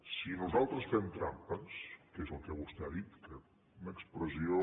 si nosaltres fem trampes que és el que vostè ha dit una expressió